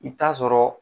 I bɛ taa sɔrɔ